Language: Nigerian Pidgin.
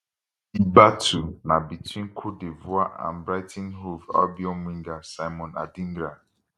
di battle na between cote divoire and brighton hove albion winger simon adingra